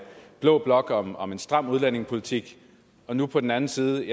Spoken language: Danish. blå blok om om en stram udlændingepolitik og nu på den anden side